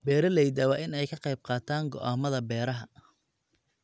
Beeralayda waa in ay ka qayb qaataan go'aamada beeraha.